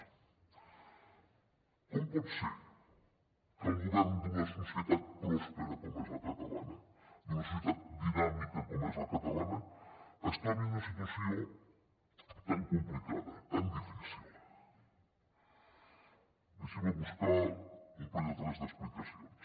com pot ser que el govern d’una societat pròspera com és la catalana d’una societat dinàmica com és la catalana es trobi en una situació tan complicada tan difícil deixi’m buscar un parell o tres d’explicacions